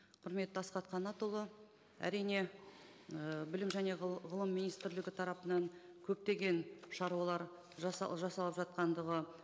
құрметті асхат қанатұлы әрине ы білім және ғылым министрлігі тарапынан көптеген шаруалар жасалып жатқандығы